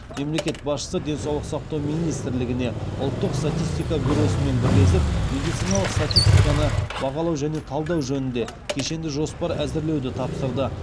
мемлекет басшысы денсаулық сақтау министрлігіне ұлттық статистика бюросымен бірлесіп медициналық статистиканы бағалау және талдау жөнінде кешенді жоспар әзірлеуді тапсырды